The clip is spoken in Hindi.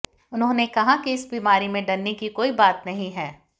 उन्होंने कहा कि इस बीमारी में डरने की कोई बात नहीं है